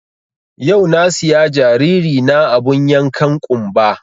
Yau na siya jariri na abun yankan ƙunba